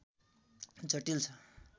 जटिल छ